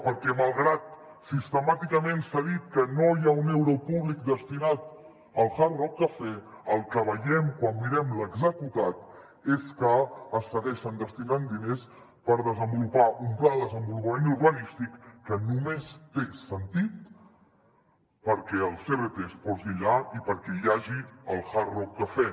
perquè malgrat que sistemàticament s’ha dit que no hi ha un euro públic destinat al hard rock cafè el que veiem quan mirem l’executat és que es segueixen destinant diners per desenvolupar un pla de desenvolupament urbanístic que només té sentit perquè el crt es posi allà i perquè hi hagi el hard rock cafè